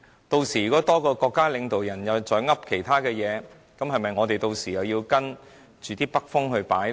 如果有多一位國家領導人說其他話，是否我們屆時又要跟隨北風擺呢？